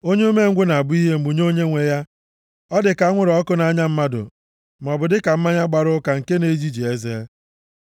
Onye umengwụ na-abụ ihe mgbu nye onyenwe ya; ọ dịka anwụrụ ọkụ nʼanya mmadụ maọbụ dịka mmanya gbara ụka nke na-ejiji eze.